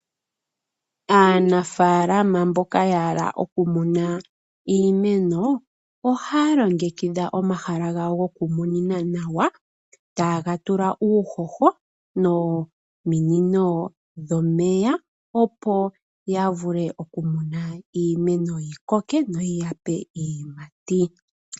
Aanafalama mboka ya hala oku muna iimeno, ohaya longekidha omahala gawo nawa tayega tula uuhoho nominino dhomeya opo ya vule oku muna iimeno yi koke noyi ya pe iiyimati.